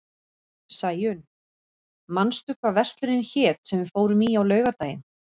Sæunn, manstu hvað verslunin hét sem við fórum í á laugardaginn?